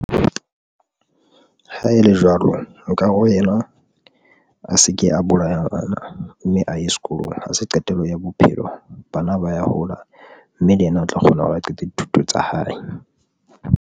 Ha ele jwalo, nkare ho ena a se ke a bolaya mme a ye sekolong. Ha se qetelo ya bophelo bana ba ya hola, mme le yena o tla kgona hore a qete dithuto tsa hae.